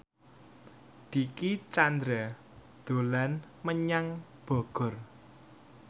Dicky Chandra dolan menyang Bogor